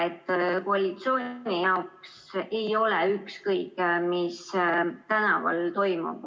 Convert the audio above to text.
Uskuge, et koalitsioon jaoks ei ole ükskõik, mis tänaval toimub.